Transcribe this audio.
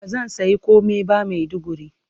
Ba zan sayi komai ba Maiduguri.